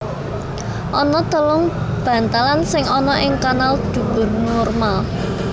Ana telung bantalan sing ana ing kanal dubur normal